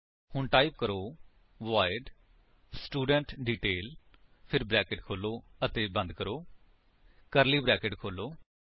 ਹੁਣ ਟਾਈਪ ਕਰੋ void student detail ਫਿਰ ਬਰੈਕੇਟਸ ਖੋਲੋ ਅਤੇ ਬੰਦ ਕਰੋ ਕਰਲੀ ਬਰੈਕੇਟਸ ਖੋਲੋ